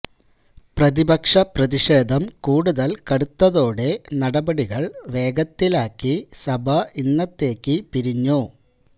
പ്രതിപക്ഷ പ്രതിഷേധം കൂടുതൽ കടുത്തതോടെ നടപടികൾ വേഗത്തിലാക്കി സഭ ഇന്നത്തേക്ക് പിരിഞ്ഞു